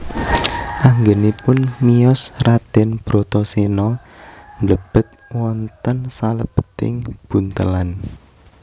Anggenipun miyos Raden Bratasena mblebet wonten salebeting buntelan